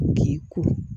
K'i kuru